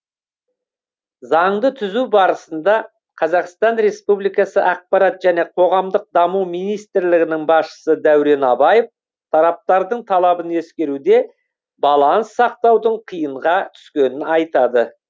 заңды түзу барысында қазақстан республикасы ақпарат және қоғамдық даму министрлігінің басшысы дәурен абаев тараптардың талабын ескеруде баланс сақтаудың қиынға түскенін айтады